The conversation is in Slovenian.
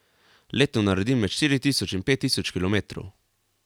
Letno naredim med štiri tisoč in pet tisoč kilometrov.